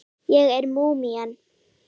Ég er múmían.